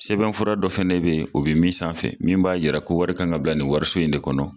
Sɛbɛn fura dɔ fɛnɛ be yen o bɛ min sanfɛ min b'a yɛrɛ ko wari kan ka bila nin wariso in de kɔnɔ